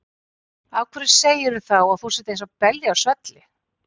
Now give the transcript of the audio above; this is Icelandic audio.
Af hverju segirðu þá að þú sért eins og belja á svelli?